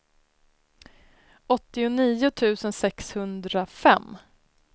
åttionio tusen sexhundrafem